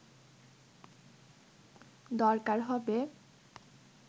দরকার হবে